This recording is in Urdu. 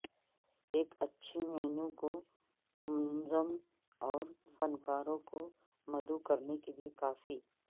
ایک اچھی مینو کو منظم اور فنکاروں کو مدعو کرنے کے لئے کافی